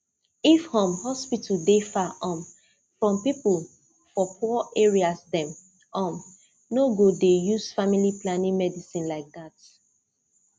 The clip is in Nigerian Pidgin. if um hospital dey far um from people for poor areas dem um no go dey use family planning medicine like that